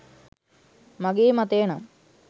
මගේ මතය නම්